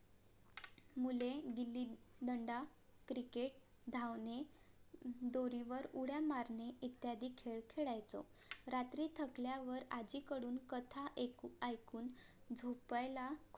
मुले गिल्ली दंडा, क्रिकेट, धावणे, दोरीवर, उड्या मारणे इत्यादी खेळ खेळायचो रात्री थकल्या वर आज्जी कडून कथा ऐकून झोपायला